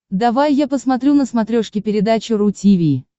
давай я посмотрю на смотрешке передачу ру ти ви